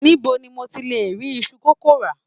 Nibo ni mo ti le ri isu kókó ra?